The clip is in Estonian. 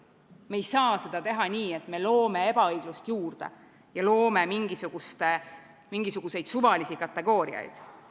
Me ei saa seda teha nii, et me loome ebaõiglust juurde ja loome mingisuguseid suvalisi kategooriaid.